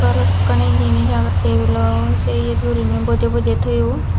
bhalokkani jinich agey table o se iyet guriney bojey bojey thoyun.